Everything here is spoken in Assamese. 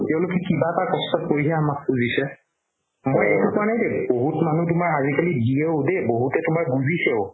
তেওলোকে কিবা এটা কষ্টত পৰি হে আমাক খুজিছে বহুত মানুহ আজিকালি জিয়েও দেই বহুতে তুমাৰ বুজিছেও